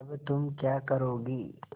अब तुम क्या करोगी